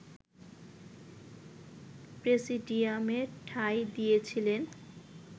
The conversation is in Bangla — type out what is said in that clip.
প্রেসিডিয়ামে ঠাঁই দিয়েছিলেন